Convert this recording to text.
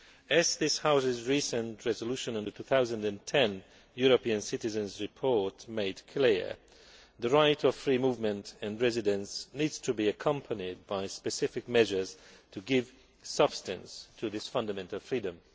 As this House's recent resolution on the 2010 European Citizens' Report made clear, the right to freedom of movement and residence needs to be accompanied by specific measures to give substance to this fundamental freedom.